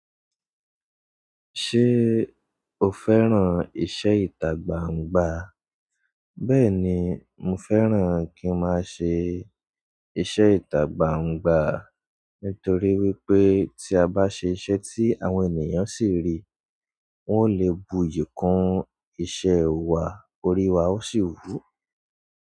Ṣé o fẹ́ràn iṣẹ́ ìtagbaǹgbà? Bẹ́ẹ̀ni, mo fẹ́ràn kí ń má a ṣe iṣẹ́ ìtagbaǹgbà, nítorí wípé tí a bá ṣe iṣẹ́ tí àwọn ènìyàn sì ń rí, wọn ó lè buyì kún iṣẹ́ wa, orí wa ó sì wù.